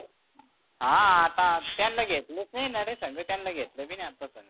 हा आता त्यांना घेतलच नाही ना रे संग त्यांना घेतलं बी नाही आपण.